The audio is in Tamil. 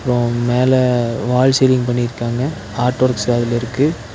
அப்ரோ மேல வால் சீலிங் பண்ணிருக்காங்க ஆர்ட் வொர்க்ஸ் அதுல இருக்கு.